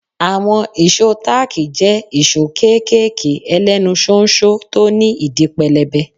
Àwọn ìṣó táàkì jẹ́ ìṣó kéékèèké ẹlẹ́nu ṣóńṣó tí ó ní ìdí pẹlẹbẹ.